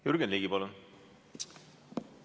Jürgen Ligi, palun!